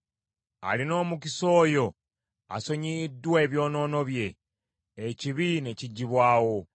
Alina omukisa oyo asonyiyiddwa ebyonoono bye ekibi ne kiggyibwawo.